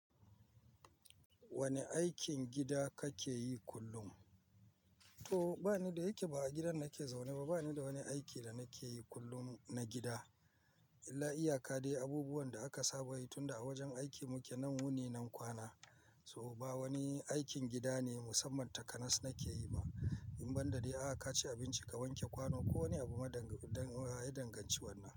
Wane aikin gida kake yi kullum? To bani da yake ba a gidan nake zaune ba. Bani da wani aiki da nake yi kullum na gida illa iyaka dai abubuwan da aka saba yi tunda a wajen aiki muke nan wuni nan kwana. To ba wani aikin gida ne musamman takanas nake yi ba. In banɗa dai, aa kaci abinci, ka wanke kwano ko wani abu daya danganci wannan.